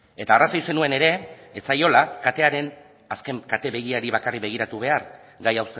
eta arrazoi zenuen ere ez zaiola katearen azken bakarrik begiratu behar gai